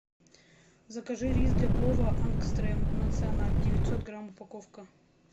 закажи рис для плова ангстрем националь девятьсот грамм упаковка